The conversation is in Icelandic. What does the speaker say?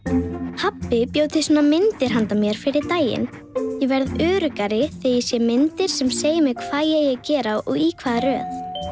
pabbi bjó til svona myndir handa mér fyrir daginn ég verð öruggari þegar ég sé myndir sem segja mér hvað ég að gera og í hvaða röð